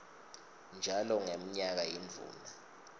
njalo ngemnyaka yindvuna